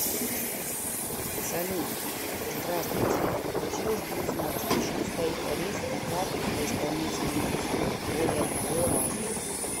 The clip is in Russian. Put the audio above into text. салют здравствуйте хотелось бы узнать почему стоит арест на карту по исполнительному листу более одного раза